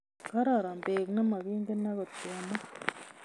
Gararan beek nemagingen agot kemwa